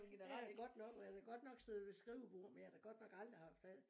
Det er godt nok været jeg har godt nok siddet ved skrivebord men jeg har da godt nok aldrig haft alt